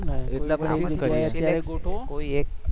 આપણે કરીએ છે ને કોઈ એક